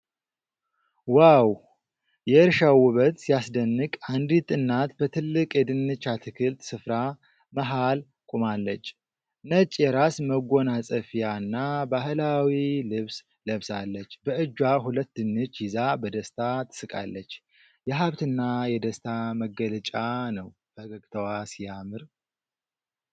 ዋው! የእርሻው ውበት ሲያስደንቅ! አንዲት እናት በትልቅ የድንች አትክልት ስፍራ መሃል ቆማለች። ነጭ የራስ መጎናጸፊያና ባህላዊ ልብስ ለብሳለች። በእጇ ሁለት ድንች ይዛ በደስታ ትስቃለች። የሀብትና የደስታ መገለጫ ነው። ፈገግታዋ ሲያምር!!